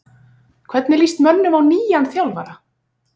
Hvernig lýst mönnum á nýjan þjálfara?